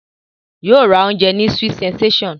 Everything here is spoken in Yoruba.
Yóò ra oúnjẹ ní sweet sensation